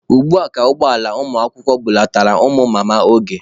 Ugbua ka ụgbọ ala ụmụakwụkwọ bulatara ụmụ Mama Oge.